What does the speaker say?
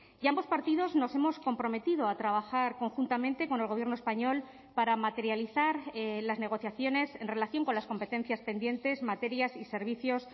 y ambos partidos nos hemos comprometido a trabajar conjuntamente con el gobierno español para materializar las negociaciones en relación con las competencias pendientes materias y servicios